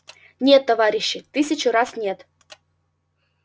нет товарищи тысячу раз нет